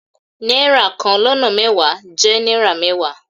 Náírà kan lọ́nà mẹ́wàá jẹ́ náírà mẹ́wàá.